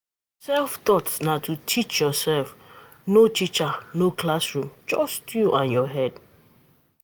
Self-taught na to teach yourself, no teacher, no classroom, just you and your head